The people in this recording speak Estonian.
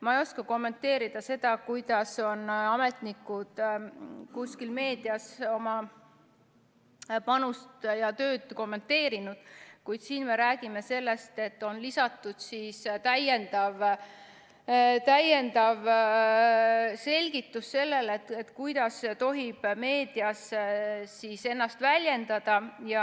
Ma ei oska kommenteerida seda, kuidas on ametnikud kuskil meedias oma panust ja tööd kommenteerinud, kuid siin me räägime sellest, et on lisatud täiendav selgitus sellele, kuidas tohib meedias ennast väljendada.